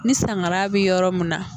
Ni sangara bɛ yɔrɔ mun na